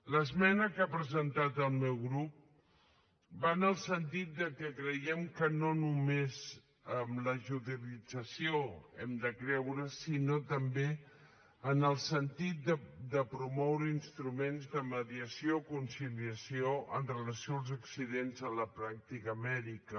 l’esmena que ha presentat el meu grup va en el sentit que creiem que no només en la judicialització hem de creure sinó també en el sentit de promoure instruments de mediació i conciliació amb relació als accidents en la pràctica mèdica